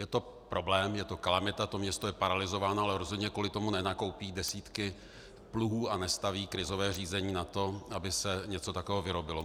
Je to problém, je to kalamita, to město je paralyzováno, ale rozhodně kvůli tomu nenakoupí desítky pluhů a nestaví krizové řízení na to, aby se něco takového vyrobilo.